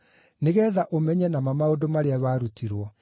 nĩgeetha ũmenye na ma maũndũ marĩa warutirwo.